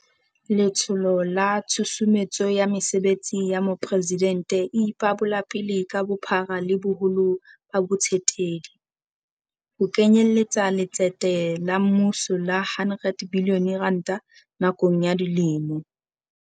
Letsholo la Tshusumetso ya Mesebetsi ya Mopresidente e ipabolapele ka bophara le boholo ba bo tsetedi, ho kenyeletsa letsete la mmuso la R100 bilione nakong ya dilemo.